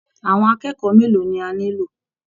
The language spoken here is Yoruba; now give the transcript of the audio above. Àwọn akẹ́kọ̀ọ́ mélòó ni a nílò!